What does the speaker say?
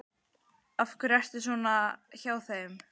Af hverju er þetta svona hjá þeim?